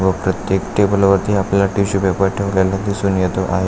व प्रत्येक टेबलवरती आपल्याला टिशू पेपर ठेवलेला दिसून येतो आहे.